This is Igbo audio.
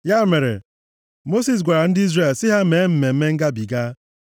Ya mere, Mosis gwara ndị Izrel sị ha mee Mmemme Ngabiga.